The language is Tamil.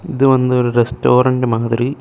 இது வந்து ஒரு ரெஸ்டோரண்ட் மாதிரி--